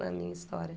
Na minha história.